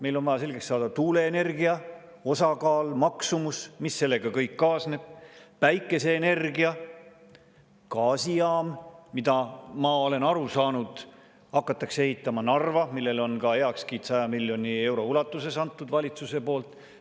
Meil on vaja selgeks saada tuuleenergia osakaal, maksumus, mis sellega kõik kaasneb, päikeseenergia, gaasijaam, mida, ma olen aru saanud, hakatakse ehitama Narva ja millele on ka heakskiit 100 miljoni euro ulatuses antud valitsuse poolt.